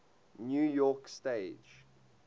new york stage